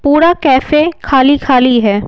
पूरा कैफे खाली-खाली है।